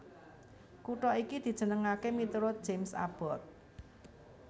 Kutha iki dijenengaké miturut James Abbott